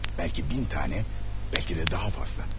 Bəlki min dənə, bəlkə də daha fazla.